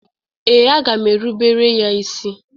Ee, aga m erubere ya isi.